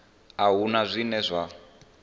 a hu na zwine zwa